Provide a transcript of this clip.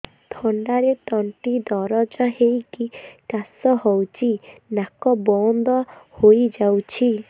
ଥଣ୍ଡାରେ ତଣ୍ଟି ଦରଜ ହେଇକି କାଶ ହଉଚି ନାକ ବନ୍ଦ ହୋଇଯାଉଛି